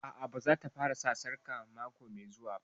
A'a, ba za ta fara sa sarƙar ƙafa mako mai zuwa